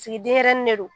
Sigi denyɛrɛnin de don